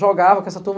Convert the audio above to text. Jogava com essa turma.